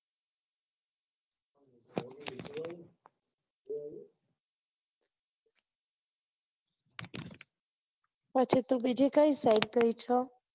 પછી તું બીજી કઈ site ગયી છે